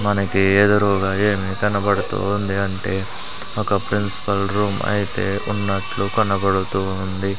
మనకి ఎదురుగా ఏమీ కనబడుతూ ఉంది అంటే ఒక ప్రిన్సిపల్ రూమ్ అయితే ఉన్నట్లు కనబడుతూ ఉంది.